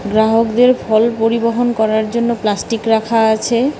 গ্রাহকদের ফল পরিবহন করার জন্য প্লাস্টিক রাখা আছে।